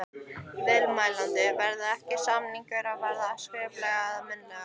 Viðmælandi: Verða ekki, samningar að vera skriflegir eða munnlegir?